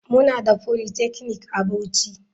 Muna da polytechnic a bauchi.